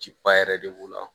Ciba yɛrɛ de b'o la